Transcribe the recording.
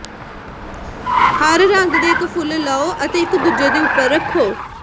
ਹਰ ਰੰਗ ਦੇ ਇੱਕ ਫੁੱਲ ਲਓ ਅਤੇ ਇਕ ਦੂਜੇ ਦੇ ਉੱਪਰ ਰੱਖੋ